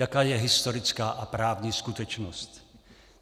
Jaká je historická a právní skutečnost?